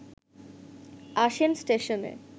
আসেন স্টেশনে